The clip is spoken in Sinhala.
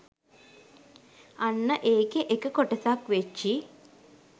අන්න ඒකෙ එක කොටසක් වෙච්චි